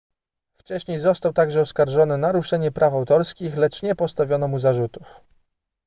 wcześniej został także oskarżony o naruszenie praw autorskich lecz nie postawiono mu zarzutów